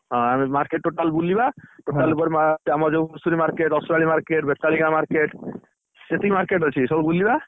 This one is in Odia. ହଁ, ଆମେ market total ବୁଲିବା ହଁ, ଧୂସୁରୀ market ଆମର ଯୋଉ ରସୁଆଳି market ବେତାଳିଆ market ସେତିକି market ଅଛି ସବୁ ବୁଲିଆ।